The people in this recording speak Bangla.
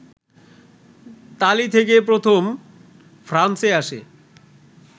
তালী থেকে প্রথম ফ্রান্সে আসে